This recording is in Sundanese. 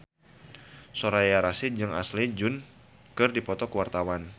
Soraya Rasyid jeung Ashley Judd keur dipoto ku wartawan